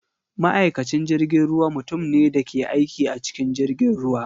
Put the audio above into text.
Ma’aikacin jirgin ruwa mutum ne da ke aiki a cikin jirgin ruwa.